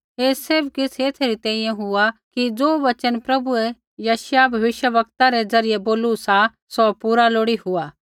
ऐ सैभ किछ़ एथै री तैंईंयैं हुआ कि ज़ो वचन प्रभुऐ यशायाह भविष्यवक्तै रै द्वारा बोलू सा सौ पूरा लोड़ी हुआ